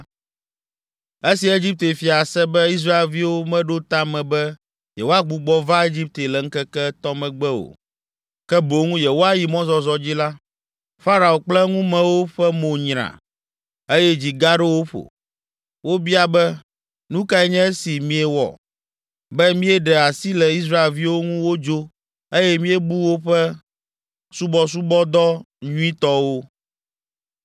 Esi Egipte fia se be Israelviwo meɖo ta me be yewoagbugbɔ va Egipte le ŋkeke etɔ̃ megbe o, ke boŋ yewoayi mɔzɔzɔ dzi la, Farao kple eŋumewo ƒe mo nyra, eye dzi gaɖo wo ƒo. Wobia be, “Nu kae nye esi míewɔ be míeɖe asi le Israelviwo ŋu wodzo eye míebu woƒe subɔsubɔdɔ nyuitɔwo?”